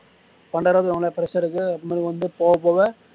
பன்னிரெண்டாயிர்ம ரூபாய் வாங்குன்னா fresher க்கு அப்பரம் மேல் வந்து போக போக